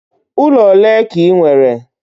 Ụlọ ole ka ị nwere?